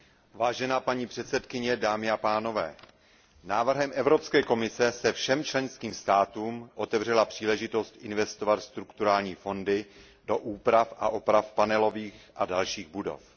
Vážená paní předsedkyně, dámy a pánové, návrhem Evropské komise se všem členským státům otevřela příležitost investovat strukturální fondy do úprav a oprav panelových a dalších budov.